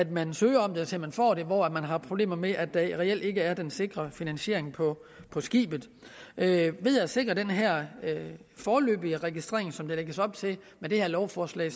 man søger om det til man får det hvor man har problemer med at der reelt ikke er den sikre finansiering på på skibet ved at sikre den her foreløbige registrering som der lægges op til med det her lovforslag